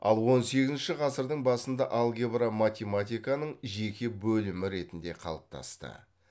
ал он сегізінші ғасырдың басында алгебра математиканың жеке бөлімі ретінде қалыптасты